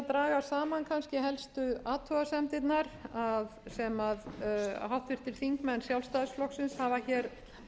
draga saman kannski helstu athugasemdirnar sem háttvirtir þingmenn sjálfstæðisflokksins hafa hér